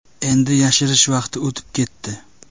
Endi yashirish vaqti o‘tib ketdi.